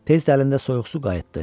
Tez də əlində soyuq su qayıtdı.